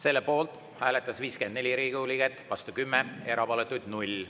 Selle poolt hääletas 54 Riigikogu liiget, vastu 10, erapooletuid oli 0.